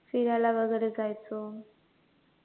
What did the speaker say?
फिरायला वैगरे जायचो